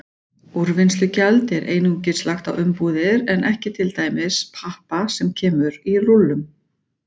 Úrvinnslugjald er einungis lagt á umbúðir en ekki til dæmis pappa sem kemur í rúllum.